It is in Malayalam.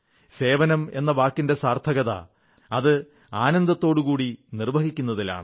സേവനം എന്ന വാക്കിന്റെ സാർഥകത അത് ആനന്ദത്തോടുകൂടി നിർവ്വഹിക്കുന്നതിലാണ്